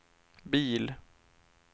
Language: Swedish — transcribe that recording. bil